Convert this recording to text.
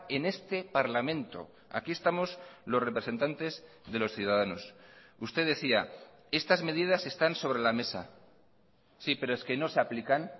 en este parlamento aquí estamos los representantes de los ciudadanos usted decía estas medidas están sobre la mesa sí pero es que no se aplican